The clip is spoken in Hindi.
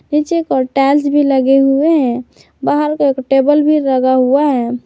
नीचे एक और टाइल्स भी लगे हुए हैं बाहर को एक टेबल भी लगा हुआ है।